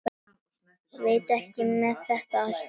Veit ekki með þetta alltaf.